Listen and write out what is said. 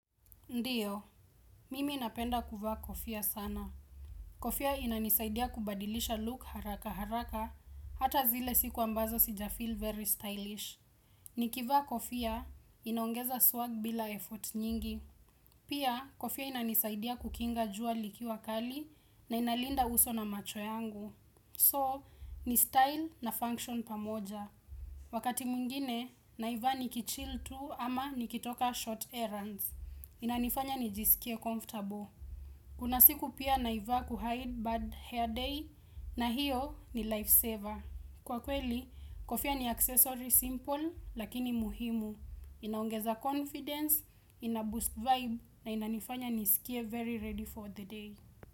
Ndio, mimi napenda kuvaa kofia sana. Kofia inanisaidia kubadilisha look haraka haraka, hata zile siku ambazo sija feel very stylish. Nikivaa kofia, inaongeza swag bila effort nyingi. Pia, kofia inanisaidia kukinga jua liki wakali na inalinda uso na macho yangu. So, ni style na function pamoja. Wakati mwingine, naiva ni kichill tu ama nikitoka short errands. Inanifanya nijisikie comfortable Kunasiku pia naivaa kuhide bad hair day na hiyo ni life saver Kwa kweli, kofia ni accessory simple lakini muhimu inaongeza confidence, inaboost vibe na inanifanya nisikie very ready for the day.